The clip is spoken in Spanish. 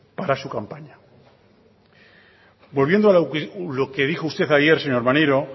para su campaña volviendo a lo que dijo usted ayer señor maneiro